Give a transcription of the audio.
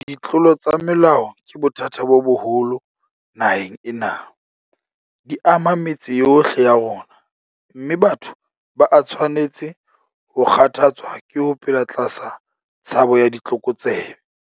Ditlolo tsa molao ke bothata bo boholo naheng ena. Di ama metse yohle ya rona, mme batho ba a tshwanetse ho kgathatswa ke ho phela tlasa tshabo ya ditlokotsebe.